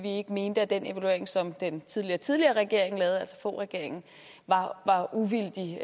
ikke mente at den evaluering som den tidligere tidligere regering lavede altså foghregeringen var uvildig